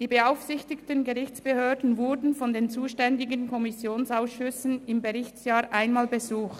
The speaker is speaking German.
Die beaufsichtigten Gerichtsbehörden wurden von den zuständigen Kommissionsausschüssen im Berichtsjahr einmal besucht.